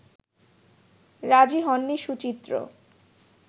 রাজি হননি সুচিত্র